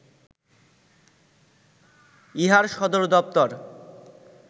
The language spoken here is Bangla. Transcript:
ইহার সদর দপ্তর